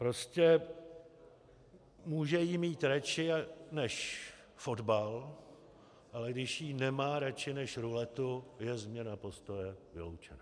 Prostě může ji mít raději než fotbal, ale když ji nemá raději než ruletu, je změna postoje vyloučena.